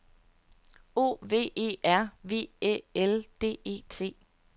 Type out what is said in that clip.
O V E R V Æ L D E T